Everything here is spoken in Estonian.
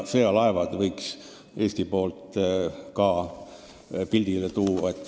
Sõjalaevad võiks Eesti poolt ka pildile tuua.